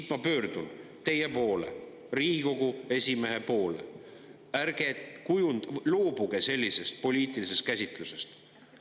Ja ma pöördun teie poole, Riigikogu esimehe poole: ärge loobuge sellisest poliitilisest käsitlusest!